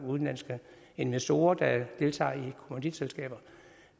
udenlandske investorer der deltager i kommanditselskaber